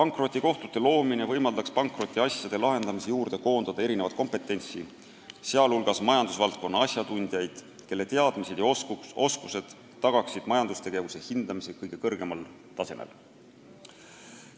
Nende kohtute loomine võimaldaks pankrotiasjade lahendamisse koondada erinevat kompetentsi, sh majandusasjatundjaid, kelle teadmised ja oskused tagaksid majandustegevuse hindamise kõige kõrgemal tasemel.